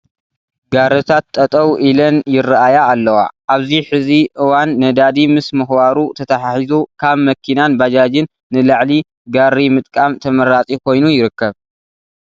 ጋሪታት ጠጠው ኢለን ይርኣያ ኣለዋ፡፡ ኣብዚ ሕዚ እዋን ነዳዲ ምስ ምኽባሩ ተተሓሒዙ ካብ መኪናን ባጃጅን ንላዕሊ ጋሪ ምጥቃም ተመራፂ ኮይኑ ይርከብ፡፡